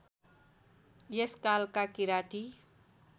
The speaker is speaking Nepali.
यस कालका किराँती